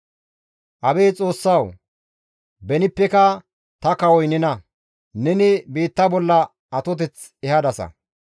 Abeet Xoossawu! Benippeka ta kawoy nena; neni biitta bolla atoteth ehadasa.